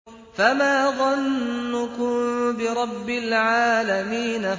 فَمَا ظَنُّكُم بِرَبِّ الْعَالَمِينَ